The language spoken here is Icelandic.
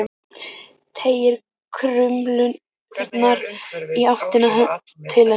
Teygir krumlurnar í áttina til hennar.